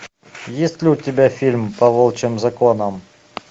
есть ли у тебя фильм по волчьим законам